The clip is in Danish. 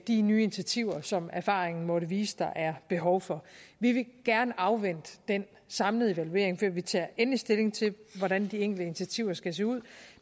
de nye initiativer som erfaringen måtte vise at der er behov for vi vil gerne afvente den samlede evaluering før vi tager endelig stilling til hvordan de enkelte initiativer skal se ud